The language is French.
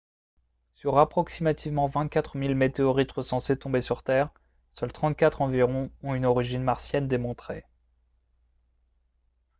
sur approximativement 24 000 météorites recensées tombées sur terre seules 34 environ ont une origine martienne démontrée